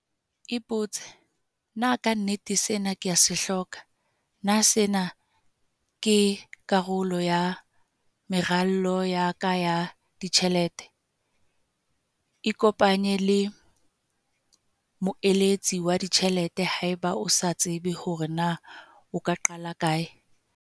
Ipotse- Na ka nnete sena ke a se hloka? Na sena ke karolo ya meralo ya ka ya ditjhelete? Ikopanye le moeletsi wa ditjhelete haeba o sa tsebe hore na o ka qala kae.